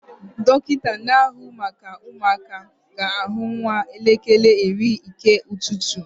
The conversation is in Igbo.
Dọkịta na-ahụ maka ụmụaka ga-ahụ nwa n'elekere iri nke ụtụtụ